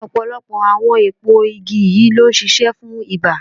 Ọ̀pọ̀lọpọ̀ àwọn èpo igi yìí ló ń ṣiṣẹ́ fún ibà.